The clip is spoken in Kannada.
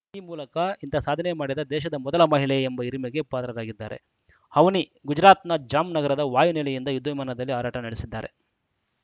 ಈ ಮೂಲಕ ಇಂಥ ಸಾಧನೆ ಮಾಡಿದ ದೇಶದ ಮೊದಲ ಮಹಿಳೆ ಎಂಬ ಹಿರಿಮೆಗೆ ಪಾತ್ರರಾಗಿದ್ದಾರೆ ಅವನಿ ಗುಜರಾತ್‌ನ ಜಾಮ್‌ನಗರ ವಾಯು ನೆಲೆಯಿಂದ ಯುದ್ಧ ವಿಮಾನದಲ್ಲಿ ಹಾರಾಟ ನಡೆಸಿದ್ದಾರೆ